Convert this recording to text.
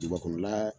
Duguba kɔnɔla